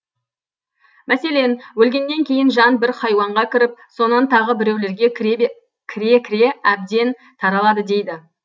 мәселен өлгеннен кейін жан бір хайуанға кіріп сонан тағы біреулерге кіре кіре әбден таралады дейді